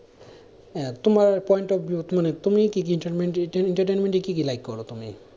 আহ তোমার point of view মানে তুমি কি কি entertainment এ কি কি like করো তুমি?